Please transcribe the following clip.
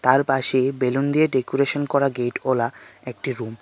তার পাশে বেলুন দিয়ে ডেকোরেশন করা গেটওয়ালা একটি রুম .